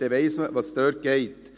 dann weiss man, was dort abgeht.